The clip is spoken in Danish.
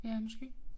Ja måske